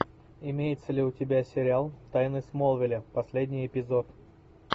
имеется ли у тебя сериал тайны смолвиля последний эпизод